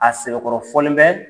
A sɛbɛkɔrɔ fɔlen bɛ